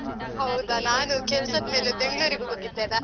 ಹೌದಾ, ನಾನು ಕೆಲ್ಸದ್ ಮೇಲೆ ಬೆಂಗ್ಳೂರಿಗೆ ಹೋಗಿದ್ದೆಲ್ಲ?